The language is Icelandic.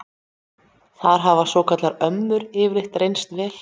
Þar hafa svokallaðar ömmur yfirleitt reynst vel.